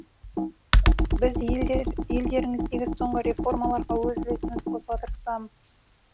біз елдеріңіздегі соңғы реформаларға өз үлесімізді қосуға тырысудамыз